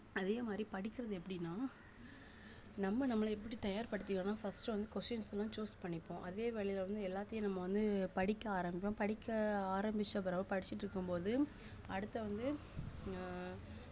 அதே மாதிரி படிக்கிறது எப்படின்னா நம்ம நம்மளை எப்படி தயார்படுத்திக்கணும்ன்னா first வந்து questions எல்லாம் choose பண்ணிப்போம் அதே வேலையில வந்து எல்லாத்தையும் நம்ம வந்து படிக்க ஆரம்பிப்போம் படிக்க ஆரம்பிச்ச பிறகு படிச்சுட்டிருக்கும் போது அடுத்து வந்து ஆஹ்